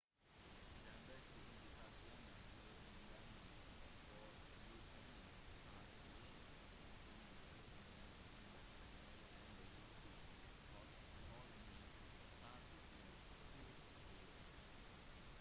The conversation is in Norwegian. den beste indikasjonen på innvendig forgiftning kan være at man finner åpne medisinbeholdere eller giftige husholdningsartikler på stedet